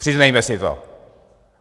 Přiznejme si to.